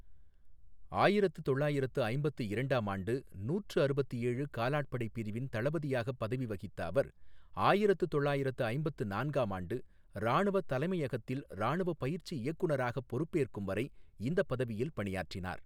ஆயிரத்து தொள்ளாயிரத்து ஐம்பத்து இரண்டாம் ஆண்டு நூற்று அறுபத்து ஏழு காலாட்படை பிரிவின் தளபதியாக பதவி வகித்த அவர், ஆயிரத்து தொள்ளாயிரத்து ஐம்பத்து நான்காம் ஆண்டு ராணுவ தலைமையகத்தில் ராணுவ பயிற்சி இயக்குநராக பொறுப்பேற்கும் வரை இந்தப் பதவியில் பணியாற்றினார்.